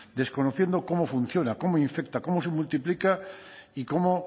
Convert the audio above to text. desconociendo cómo funciona cómo infecta cómo se multiplica y cómo